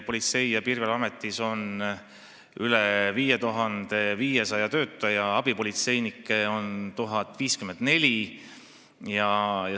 Politsei- ja Piirivalveametis on üle 5500 töötaja, abipolitseinikke on 1054.